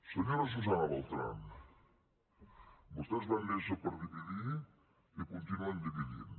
senyora susana beltrán vostès van néixer per dividir i continuen dividint